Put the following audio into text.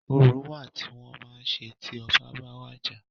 Orò wa tí wọ́n máa ń ṣe tí ọbá ba wàjà.